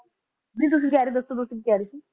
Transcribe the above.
ਨਹੀਂ ਤੁਸੀਂ ਕਿਹੜੇ ਸੀ ਦੱਸੋ ਕਿ ਕਹਿ ਰਹੇ ਸੀ